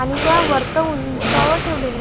आणि त्या उंचावर ठेवलेल्या आहेत.